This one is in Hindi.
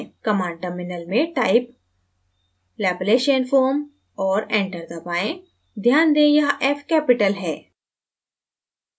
command terminal में type laplacianfoam और enter दबाएँ ध्यान दें यहाँ f capital है